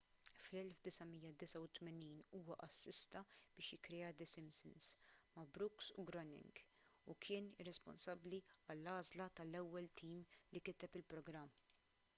fl-1989 huwa assista biex jikkrea the simpsons ma' brooks u groening u kien responsabbli għall-għażla tal-ewwel tim li kiteb il-programm